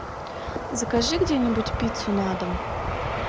закажи где нибудь пиццу на дом